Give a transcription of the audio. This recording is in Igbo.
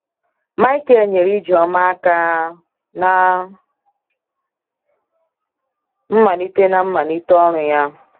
Michael nyeere Ijeoma áká na mmalite na mmalite ọrụ ya.